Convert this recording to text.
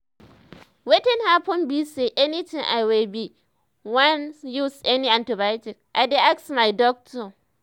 wetin happen be say anytime i wey be wan use any antibiotics i dey ask my doctor